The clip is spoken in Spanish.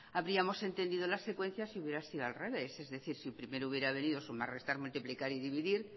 habríamos entendido la secuencia si hubiera sido al revés es decir si primero hubiera venido sumar restar multiplicar y dividir